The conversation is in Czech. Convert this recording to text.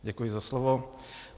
Děkuji za slovo.